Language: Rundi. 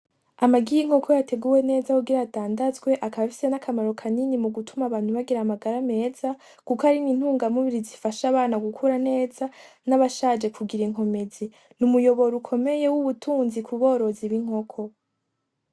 Amagi y'inkoko yateguwe neza kugira adandazwe akaba afise nakamaro kanini mugutuma abantu bagira amagara meza kuko ari n'intungamubiri zifasha abana gukura neza n'abashaje kugira inkomezi ni uumuyoboro ukomeye w'ubutunzi kuborozi b'inkoko.